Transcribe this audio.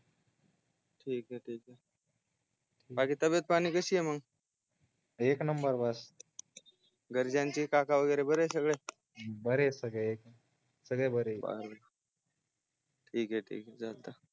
ठीक आहे ठीक आहे बाकी तबियत पाणी कसी आहे मग एक नंबर बस घरच्यांसी काकाची वगेर बरे आहेत सगळे बरेसगळे सगळे बरेत ठीके ठीके आहेत रे